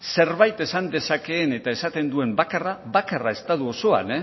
zerbait esan dezakeen eta esaten duen bakarra bakarra estatu osoan